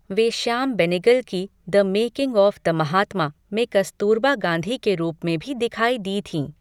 वे श्याम बेनेगल की 'the making of the Mahatma' में कस्तूरबा गांधी के रूप में भी दिखाई दी थीं।